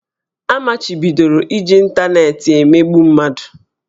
A machibidoro iji ịntanetị emegbu mmadụ